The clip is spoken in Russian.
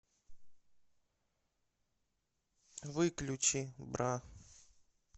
выключи бра